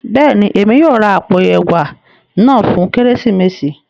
Béèni, Èmi yóò rà apó ẹwà náà fún Kérésìmesì